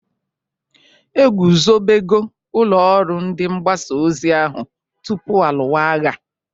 Egwuzobego ụlọ ọrụ ndị mgbasa ozi ahu tupu alụwa agha?